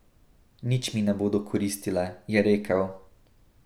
Nič mi ne bodo koristile, je rekel.